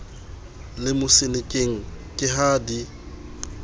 le mosenekeng ke ha di